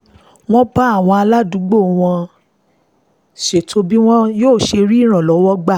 wọ́n bá àwọn aládùúgbò wọn ṣètò bí wọ́n ṣe máa rí ìrànlọ́wọ́ gbà